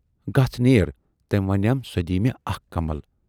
گَژھ نیر۔ ""تمٔۍ ونیام سۅ دِیہِ مےٚ اَکھ کمل"۔